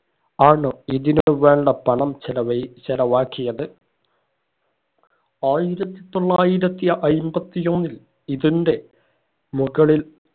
ആണ് ഇതിനു വേണ്ട പണം ചിലവഴി ചെലവാക്കിയത് ആയിരത്തി തൊള്ളായിരത്തി അയ്മ്പതി ഒന്നിൽ ഇതിന്റെ മുകളിൽ